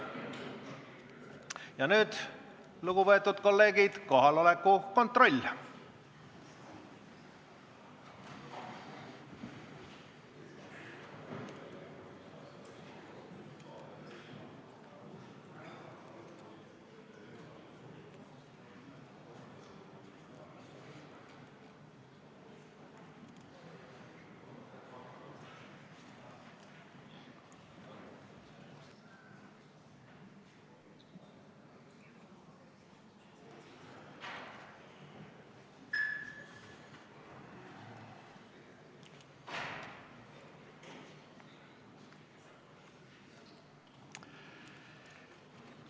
Ja nüüd, lugupeetud kolleegid, kohaloleku kontroll!